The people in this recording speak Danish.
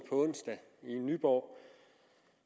onsdag i nyborg